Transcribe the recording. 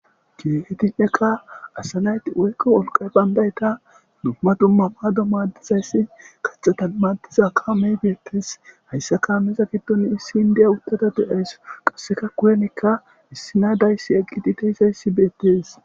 Kietinnekka asanayti woykqa wolqa bandayta dumma dumma baado madizayssi qaxata matiza ka mey beettes hayssaka ammeza giddon issin diya uttata de'ays qasseka kuyenekka issinaadayssi eqqititeyzayssi beettes.